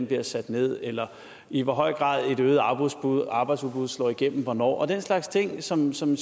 bliver sat ned eller i hvor høj grad et øget arbejdsudbud arbejdsudbud slår igennem og hvornår og den slags ting som som